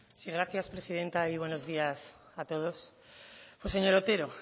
sí gracias presidenta y buenos días a todos señor otero